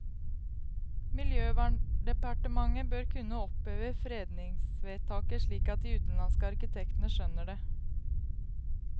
Miljøverndepartementet bør kunne oppheve fredningsvedtaket, slik at de utenlandske arkitektene skjønner det.